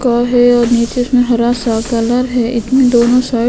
क है और नीचे उसमे हरा सा कलर है एक में दोनों एक साइड --